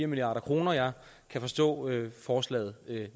milliard kr jeg kan forstå forslaget